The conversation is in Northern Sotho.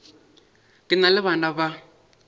ke na le bana ba